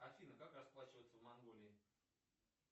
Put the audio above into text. афина как расплачиваться в монголии